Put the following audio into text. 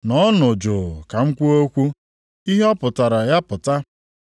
“Nọọnụ jụụ ka m kwuo okwu; ihe ọ pụtara ya pụta.